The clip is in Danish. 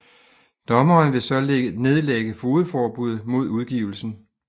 Dommeren vil så nedlægge fogedforbud mod udgivelsen